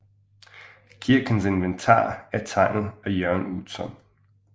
Kirkens inventar er tegnet af Jørn Utzon